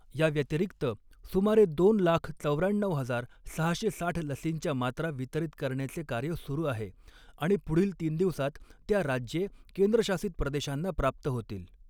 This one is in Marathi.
याव्यतिरिक्त, सुमारे दोन लाख चौर्याण्णऊ हजार सहाशे साठ लसींच्या मात्रा वितरीत करण्याचे कार्य सुरू आहे आणि पुढील तीन दिवसात त्या राज्ये, केंद्रशासित प्रदेशांना प्राप्त होतील.